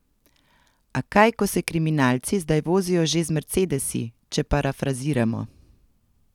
A kaj, ko se kriminalci zdaj vozijo že z mercedesi, če parafraziramo.